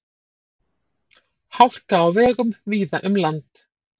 Hálka á vegum víða um land